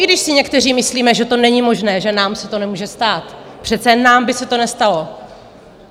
I když si někteří myslíme, že to není možné, že nám se to nemůže stát, přece nám by se to nestalo...